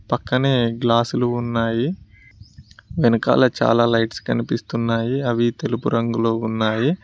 పక్కనే గ్లాసులు ఉన్నాయి వెనకాల చాలా లైట్స్ కనిపిస్తున్నాయి అవి తెలుపు రంగులో ఉన్నాయి.